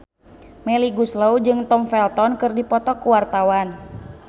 Melly Goeslaw jeung Tom Felton keur dipoto ku wartawan